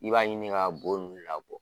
I b'a ɲini ka bo nunnu labɔ.